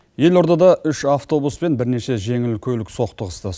елордада үш автобус пен бірнеше жеңіл көлік соқтығысты